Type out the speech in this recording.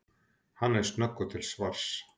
Hann er snöggur til svars.